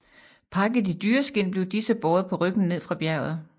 Pakket i dyreskind blev disse båret på ryggen ned fra bjerget